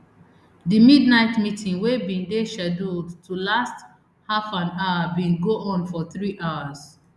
di midnight meeting wey bin dey scheduled to last halfanhour bin go on for three hours